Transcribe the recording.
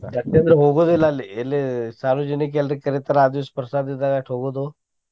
ಯಾಕ್ ಅಂದ್ರ ಹೋಗುದಿಲ್ಲ ಅಲ್ಲಿ ಎಲ್ಲಿ ಸಾರ್ವಜನಿಕ ಎಲ್ರಿಗ್ ಕರಿತಾರ ಆ ದಿವ್ಸ ಪ್ರಸಾದ ಇದ್ದಾಗ ಅಚೆ ಹೋಗೋದು.